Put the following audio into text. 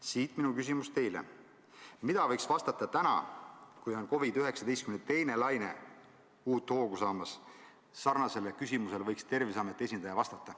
Siit minu küsimus teile: mida võiks vastata täna, kui COVID-19 teine laine on uut hoogu saamas, sarnasele küsimusele Terviseameti esindaja?